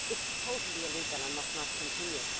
This is totally illegal and must not continue.